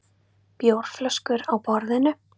Bjórflöskur á borðinu.